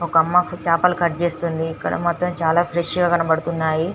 ఒక అమ్మ చేపలు కట్ చేస్తుంది ఇక్కడ మాత్రం చాల ఫ్రెష్ గ కనబడుతున్నాయి .